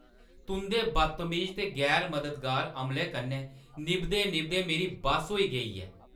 तुंʼदे बदतमीज ते गैर-मददगार अमले कन्नै निभदे-निभदे मेरी बस होई गेई ऐ।